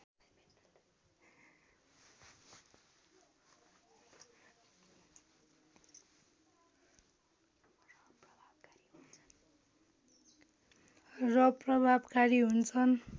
र प्रभावकारी हुन्छन्